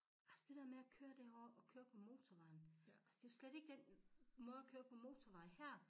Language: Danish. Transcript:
Også det dér med at køre derovre og køre på motorvejen altså det jo slet ikke den måde at køre på motorvej her